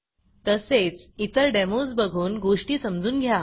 तसेच इतर डेमोज बघून गोष्टी समजून घ्या